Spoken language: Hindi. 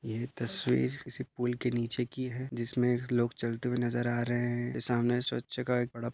यह तस्वीर किसी पुल के निचे कि हैं। जिसमे लोग चलते हुए नजर आ रहे हैं। सामने स्वच्छ का एक बड़ा--